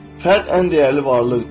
Fərd ən dəyərli varlıqdır.